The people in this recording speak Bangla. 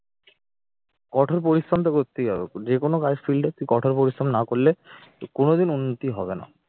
কঠোর পরিশ্রম তো করতেই হবে যেকোনো field এ কঠোর পরিশ্রম না করলে কোনদিন উন্নতি হবে না